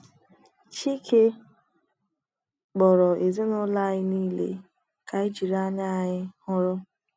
chike kpọrọ ezinụlọ anyị nile ka anyị jiri anya anyị hụrụ.